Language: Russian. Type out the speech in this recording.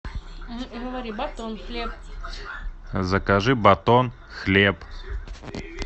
закажи батон хлеб